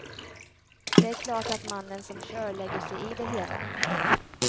Det är klart att mannen som kör lägger sig i det hela.